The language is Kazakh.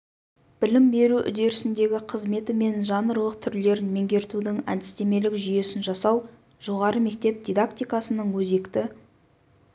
білім беру үдерісіндегі қызметі мен жанрлық түрлерін меңгертудің әдістемелік жүйесін жасау жоғары мектеп дидактикасының өзекті